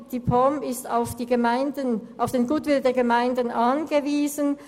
Die POM ist auf den Goodwill der Gemeinden angewiesen.